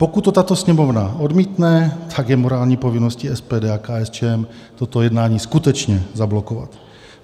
Pokud to tato Sněmovna odmítne, tak je morální povinností SPD a KSČM toto jednání skutečně zablokovat.